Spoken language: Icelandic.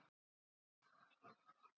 Hvað átti hann að gera, tækla dómarann?